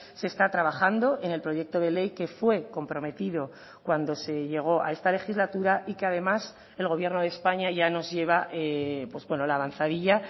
se está trabajando en el proyecto de ley que fue comprometido cuando se llegó a esta legislatura y que además el gobierno de españa ya nos lleva la avanzadilla